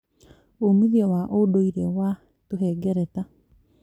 Umithio wa ũndũire wa tũhengereta